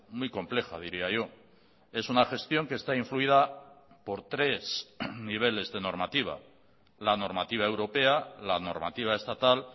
muy compleja diría yo es una gestión que está influida por tres niveles de normativa la normativa europea la normativa estatal